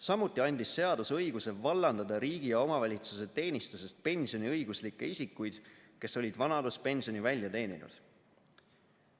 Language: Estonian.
Samuti andis seadus õiguse vallandada riigi- ja omavalitsuse teenistusest pensioniõiguslikke isikuid, kes olid vanaduspensioni välja teeninud.